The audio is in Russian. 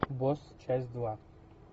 босс часть два